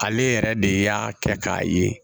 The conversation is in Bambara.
Ale yɛrɛ de y'a kɛ k'a ye